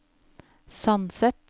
Sandset